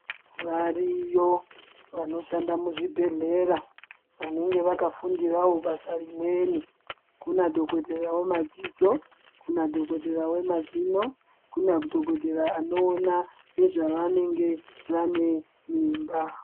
Variyo vanoshanda muzvibhedhlera vanenge vakafundirawo basa rimweni, kunadhogodheya wemadziso, kunadhogodheya wemazino, kunadhogodheya anoona nezvevanenge vanemimba.